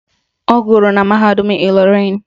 Ọ gụrụ na mahadum Ịlọrịn